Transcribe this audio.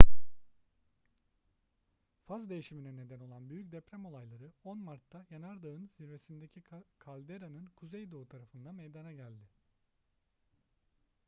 faz değişimine neden olan büyük deprem olayları 10 mart'ta yanardağın zirvesindeki kalderanın kuzeydoğu tarafında meydana geldi